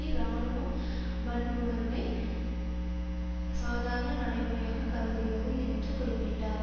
இராணுவம் வன்புணர்வை சாதாரண நடைமுறையாக கருதுகிறது என்று குறிப்பிட்டார்